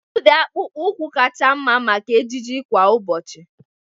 Kedu ụdị akpụkpọ ụkwụ kacha mma maka ejiji kwa ụbọchị?